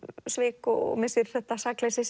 svik og missir þetta sakleysi